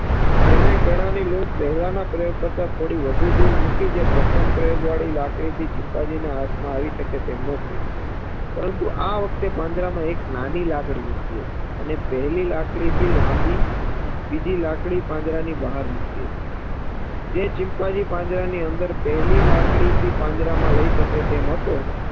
બીજી લાકડી પાંજરાની બહાર મૂકી હતી જે ચિમ્પાન્જી પાંજરાની અંદર પહેલી લાકડી થી પાંજરામાં લઇ શકે તેમ હતો